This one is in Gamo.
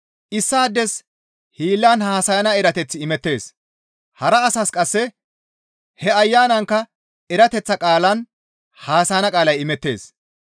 Issaades hiillan haasayana erateththi imettees; hara asas qasse he Ayanankka erateththa qaalan haasayana qaalay imettees.